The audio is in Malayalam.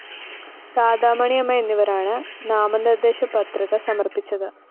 രാധാമണിയമ്മ എന്നിവരാണ് നാമനിര്‍ദ്ദേശപത്രിക സമര്‍പ്പിച്ചത്